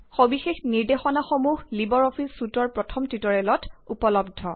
সবিশেষ নিৰ্দেশনাসমূহ Libre office চুইটৰ প্ৰথম টিউটৰিয়েলত উপলব্ধ